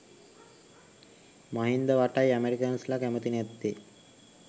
මහින්දවටයි අමෙරිකන්ස්ලා කැමති නැත්තේ.